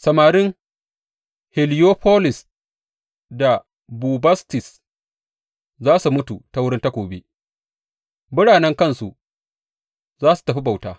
Samarin Heliyofolis da Bubastis za su mutu ta wurin takobi, biranen kansu za su tafi bauta.